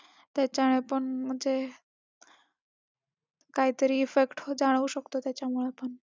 त्याच्याने पण म्हणजे काहीतरी effect जाणवू शकतो त्याच्यामुळं पण